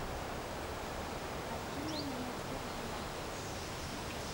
афина на ютуб блар